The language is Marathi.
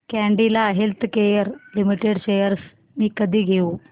कॅडीला हेल्थकेयर लिमिटेड शेअर्स मी कधी घेऊ